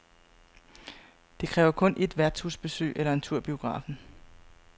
Det kræver kun et værtshusbesøg eller en tur i biografen.